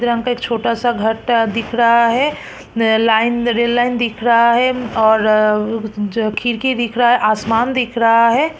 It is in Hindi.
सफेद रंग का एक छोटा-सा घटा दिख रहा है नया लाइन द रेल लाइन दिख रहा है और जो खिड़की दिख रहा है आसमान दिख रहा है।